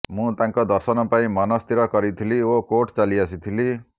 ମୁଁ ତାଙ୍କ ଦର୍ଶନ ପାଇଁ ମନସ୍ଥିର କରିଥିଲି ଓ କୋର୍ଟ ଚାଲି ଆସିଥିଲି